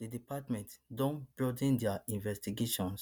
di department don broaden dia investigation